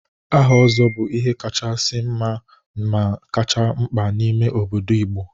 Aha Ozo bu ihe kachasi nma ma kachasi mkpa n'ime obodo Igbo.